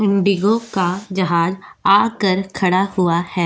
Indigo का जहाज आकर खड़ा हुआ है।